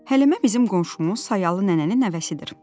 Həlimə bizim qonşumuz Sayalı nənənin nəvəsidir.